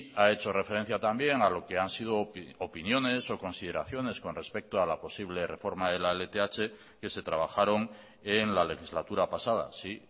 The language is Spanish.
ha hecho referencia también a lo que han sido opiniones o consideraciones con respecto a la posible reforma de la lth que se trabajaron en la legislatura pasada sí